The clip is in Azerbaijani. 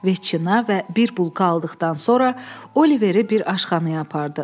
Viçina və bir bulka aldıqdan sonra Oliveri bir aşxanaya apardı.